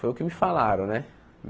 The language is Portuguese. Foi o que me falaram, né?